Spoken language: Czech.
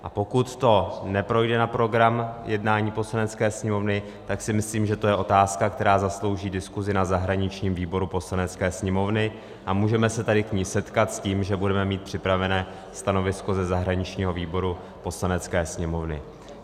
A pokud to neprojde na program jednání Poslanecké sněmovny, tak si myslím, že to je otázka, která zaslouží diskusi na zahraničním výboru Poslanecké sněmovny, a můžeme se tady k ní setkat s tím, že budeme mít připravené stanovisko ze zahraničního výboru Poslanecké sněmovny.